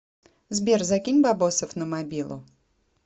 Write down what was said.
сбер закинь бабосов на мобилу